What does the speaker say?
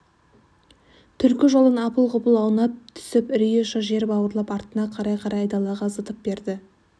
түлкі жолдан апыл-ғұпыл аунап түсіп үрейі ұша жер бауырлап артына қарай-қарай айдалаға зытып берді